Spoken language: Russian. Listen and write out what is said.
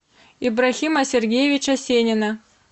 иброхима сергеевича сенина